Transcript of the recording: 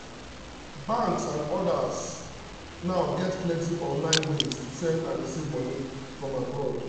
banks and others now get plenty online ways to send and receive money from abroad.